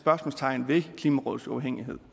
spørgsmålstegn ved klimarådets uafhængighed